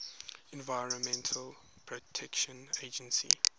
environmental protection agency